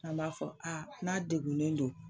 An b'a fɔ n'a degunnen don